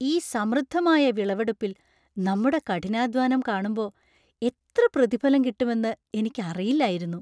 ഈ സമൃദ്ധമായ വിളവെടുപ്പിൽ നമ്മുടെ കഠിനാധ്വാനം കാണുമ്പോ എത്ര പ്രതിഫലം കിട്ടുമെന്നു എനിക്ക് അറിയില്ലായിരുന്നു.